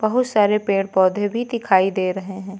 बहुत सारे पेड़ पौधे भी दिखाई दे रहे है।